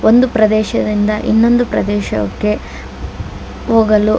ಒಂದು ಪ್ರದೇಶದಿಂದ ಇನ್ನೊಂದು ಪ್ರದೇಶಕ್ಕೆ ಹೋಗಲು--